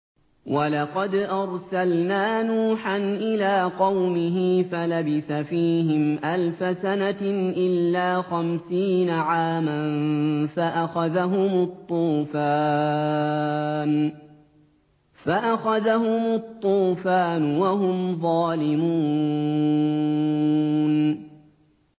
وَلَقَدْ أَرْسَلْنَا نُوحًا إِلَىٰ قَوْمِهِ فَلَبِثَ فِيهِمْ أَلْفَ سَنَةٍ إِلَّا خَمْسِينَ عَامًا فَأَخَذَهُمُ الطُّوفَانُ وَهُمْ ظَالِمُونَ